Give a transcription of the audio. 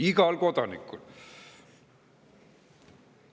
Igal kodanikul!